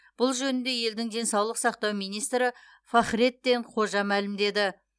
бұл жөнінде елдің денсаулық сақтау министрі фахреттин қожа мәлімдеді